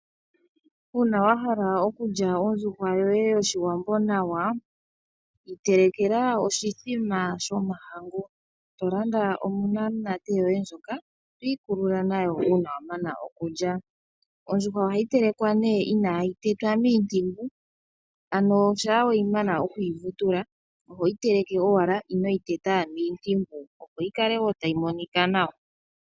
Uuna wahala okulya ondjuhwa yoye yoshiwambo nawa. Iitelekela oshithima shomahangu, tolanda onanate yoye ndjoka twikulula nayo uuna wamana okulya. Ondjuhwa ohayi telekwa nee inayi tetwa mintimbu, ano sha weyi mana okuyi vutula, ohoyi teleke owala, ino yi teta mintimbu, opo yi kale ayi monika nawa.